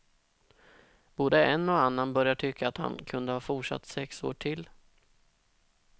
Både en och annan börjar tycka att han kunde ha fortsatt sex år till.